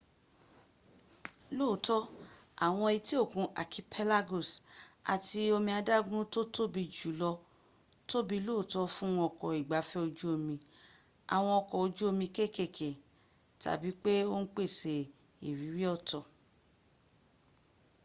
lóòótọ́ àwọn etí òkun archipelagos àti omi adágún tó tóbi jùlọ tóbi lóòótọ́ fún ọkọ̀ ìgbafẹ́ ojú omi àwọn ọkọ̀ ojú omi kéékèké tàbí pé ó ń pèsè ìrírí ọ̀tọ̀